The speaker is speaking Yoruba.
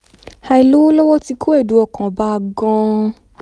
àìlówó lọ́wọ́ ti kó ẹ̀dùn ọkàn bá a gan-an